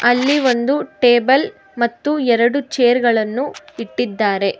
ಅಲ್ಲಿ ಒಂದು ಟೇಬಲ್ ಮತ್ತು ಎರಡು ಚೇರ್ ಗಳನ್ನು ಇಟ್ಟಿದ್ದಾರೆ.